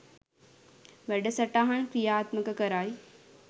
වැඩසටහන් ක්‍රියාත්මක කරයි